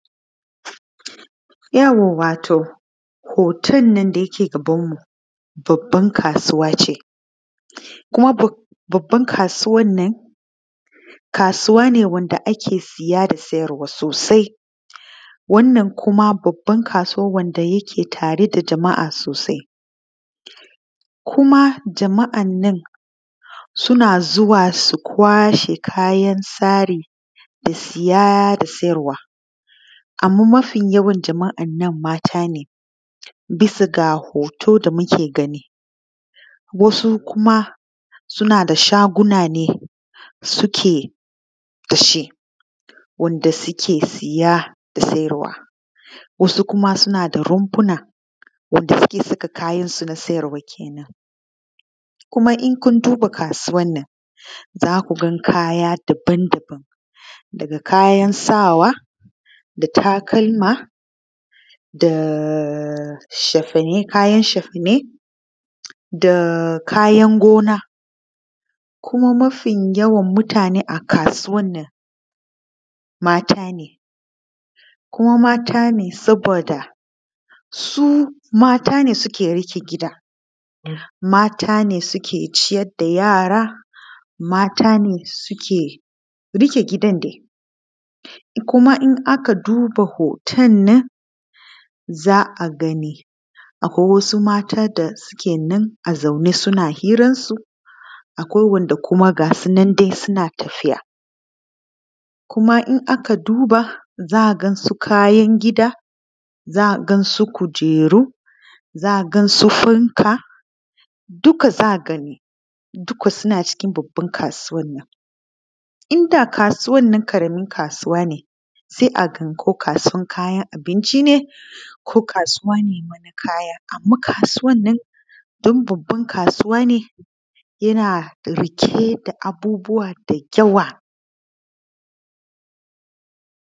Yauwa, wato hoton nan da yake gabanmu, babban kasuwa ce. Kuma babban kasuwan nan, kasuwa ne wanda ake siya da siyarwa sosai. Wannan kuma babban kasuwan wanda yake tare da jama’a sosai, kuma jama’an nan, suna zuwa su kwashe kayan sari da siya da siyarwa. Amma mafi yawan jama’an nan mata ne, bias ga hoto da muke gani, wasu kuma suna da shaguna ne suke da shi wanda suke siya da siyarwa, wasu kuma suna da rumfuna wanda suke saka kayansu na siyarwa kenan. Kuma in kun duba kasuwan nan za ku ga kaya daban-daban, daga kayan sawa da takalma da shafane, kayan shafane da kayan gona, kuma mafi yawan mutane a kasuwan nan mata ne, kuma mata ne saboda su mata ne suke riƙe gida, mata ne suke ciyar da yara, mata ne suke riƙe gidan dai. Kuma in aka duba hoton nan za a gani, akwai wasu mata da suke nan a zaune suna hiransu akwai wanda kuma gasu nan dai suna tafiya. Kuma in aka duba za a gas u kayan gida, za a gansu kujeru, za a gansu fanka, duka za a gani, duka suna cikin babban kasuwan nan. In da kasuwan nan ƙaramin kasuwa ne, sai a gan ko kasuwan kayan abinci ne ko kasuwa ne na wani kaya, amman kasuwan nan don babban kasuwa ne yana da riƙe da abubuwa dayawa.